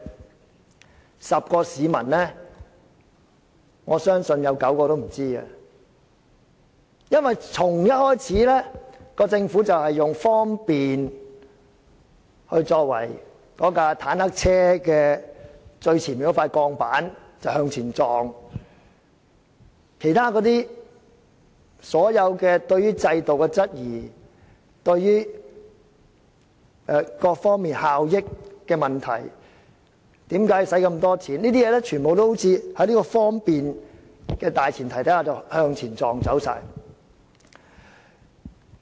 我相信10個市民中有9個也不知道，因為打從一開始，政府便以"方便"作為它那輛"坦克車"最前面的那塊鋼板向前撞，其他所有對制度的質疑、各方面效益的問題、為何花這麼多錢等的問題，都好像在"方便"的大前提下全被撞走了。